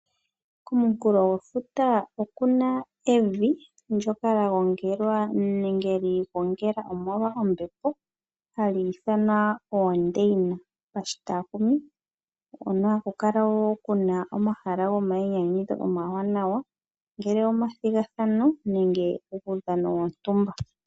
Komunkulo gwefuta okuna evi ndoka lya gongelwa nenge lyi igongela omolwa ombepo, hali ithanwa oondeina pashitakumi, hono haku kala wo kuna omahala gomainyanyudho omawaanawa ongele omathigathano nenge uudhano wontumba.